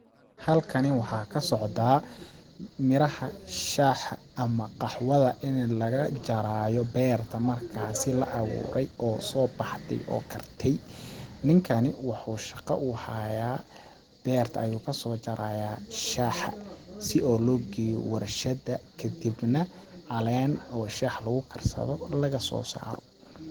Halkani waxaa ka socdaa miraha shaaxa ama qaxwada ini laga jaraayaa berta markaasi la aburay oo soo baxday oo kartay. Ninkani wuxuu shaqo u haayaa berta ayuu kasoo jaraayaa shaxa si oo loo geeyo warshada kadibna caleen oo shax lagu karsado laga soo saaro.